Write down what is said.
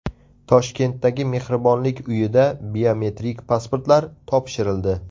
Toshkentdagi Mehribonlik uyida biometrik pasportlar topshirildi.